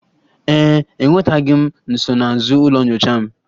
Ee e, enwetabeghị m nsonaazụ ụlọ nyocha m